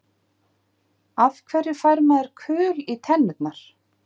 Af hverju fær maður kul í tennurnar?